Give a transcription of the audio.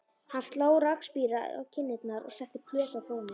Hann sló rakspíra á kinnarnar og setti plötu á fóninn.